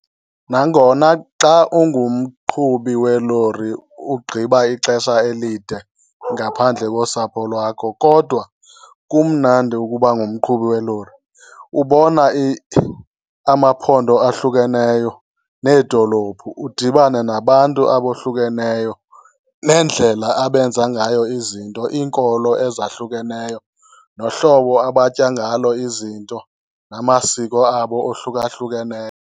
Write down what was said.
Nangona xa ungumqhubi welori ugqiba ixesha elide ngaphandle kosapho lwakho kodwa kumnandi ukuba ngumqhubi welori. Ubona amaphondo ahlukeneyo needolophu, udibane nabantu abohlukeneyo neendlela abenza ngayo izinto. Iinkolo ezahlukeneyo nohlobo abatya ngalo izinto, namasiko abo ohlukahlukeneyo.